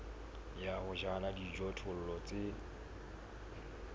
ya ho jala dijothollo tse